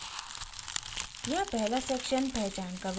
यहाँ पहला सेक्शन पहचान का विवरण है